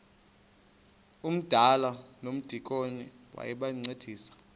umdala nomdikoni bayancedisana